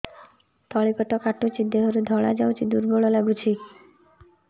ତଳି ପେଟ କାଟୁଚି ଦେହରୁ ଧଳା ଯାଉଛି ଦୁର୍ବଳ ଲାଗୁଛି